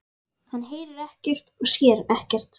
Hann heyrir ekkert og sér ekkert.